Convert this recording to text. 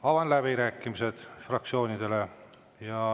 Avan läbirääkimised fraktsioonidele.